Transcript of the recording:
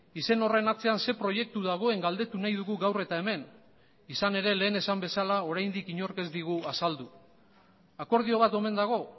izen horren atzean ze proiektu dagoen galdetu nahi dugu gaur eta hemen izan ere lehen esan bezala oraindik inork ez digu azaldu akordio bat omen dago